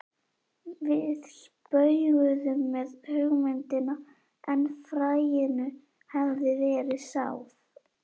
Við spauguðum með hugmyndina en fræinu hafði verið sáð.